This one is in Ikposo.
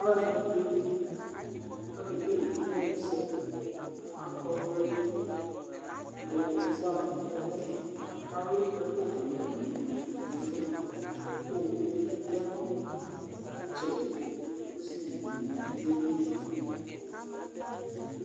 Alu ɛɖìní yeli ku akekele imenusɛ Akɔ ɔvlɛ ɖu ufa ŋu ɛmɔ Alu ɛku hamɛ hamɛ ŋu ɛlu Owuɖìŋí bi yaŋu itsɛɖi kʋ ɔsiviɖíbi ɣeli